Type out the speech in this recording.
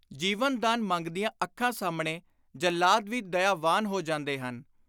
ਜੀਵਨਦਾਨ ਮੰਗਦੀਆਂ ਅੱਖਾਂ ਸਾਹਮਣੇ ਜੱਲਾਦ ਵੀ ਦਇਆਵਾਨ ਹੋ ਜਾਂਦੇ ਹਨ।